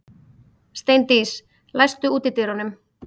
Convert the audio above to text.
Steindís, læstu útidyrunum.